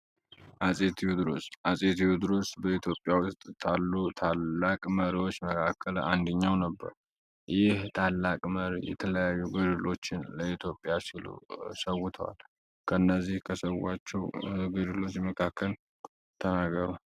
አጼ ቴዎድሮስ አጼ ቴዎድሮስ በኢትዮጵያ ካሉ መሪዎች አንደኛው ነበር ይህ ታላቅ መሪ የተለያዩ ገድሎችን ለኢትዮጵያ ሰውቷል ስለ አፄ ቴዎድሮስ የመታውትን ተናገሩ?